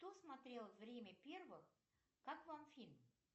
кто смотрел время первых как вам фильм